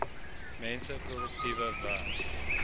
mense produktiewe werk